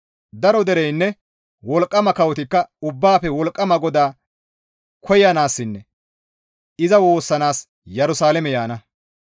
Daro dereynne wolqqama kawotikka Ubbaafe Wolqqama GODAA koyanaassinne iza woossanaas Yerusalaame yaana.